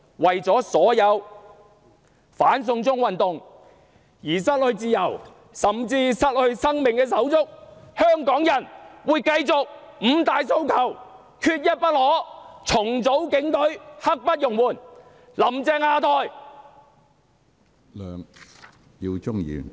為了所有因"反送中"運動而失去自由，甚至失去生命的手足，香港人會繼續高呼："五大訴求，缺一不可"；"重組警隊，刻不容緩"；"'林鄭'下台！